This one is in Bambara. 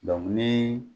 ni